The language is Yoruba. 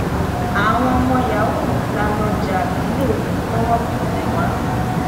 àwọn ọmọ yahoo la lọ jà lọlẹ tọwọ fi tẹ wá